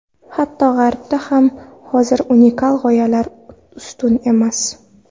Hatto, G‘arbda ham hozir unikal g‘oyalar ustun emas.